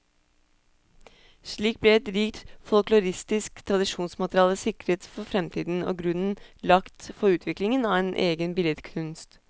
Slik ble et rikt folkloristisk tradisjonsmateriale sikret for fremtiden, og grunnen lagt for utviklingen av en egen billedkunst.